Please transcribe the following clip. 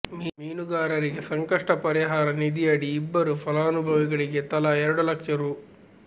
ಮೀನುಗಾರರಿಗೆ ಸಂಕಷ್ಟ ಪರಿಹಾರ ನಿಧಿಯಡಿ ಇಬ್ಬರು ಫಲಾನುಭವಿಗಳಿಗೆ ತಲಾ ಎರಡು ಲಕ್ಷ ರೂ